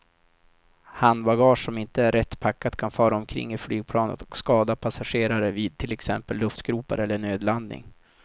Handbagage som inte är rätt packat kan fara omkring i flygplanet och skada passagerare vid till exempel luftgropar eller nödlandning.